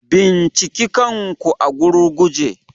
Binciki kanku a gurguje.